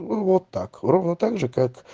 вот так ровно также как